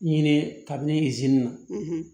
Ɲini kabini zeni na